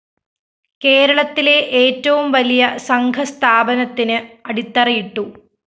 കേരളത്തിലെ ഏറ്റവും വലിയ സംഘസ്ഥാപനത്തിന് അടിത്തറയിട്ടു